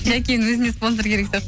жакенің өзіне спонсор керек сияқты